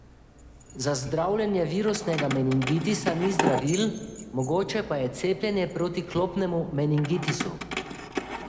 Za zdravljenje virusnega meningitisa ni zdravil, mogoče pa je cepljenje proti klopnemu meningitisu.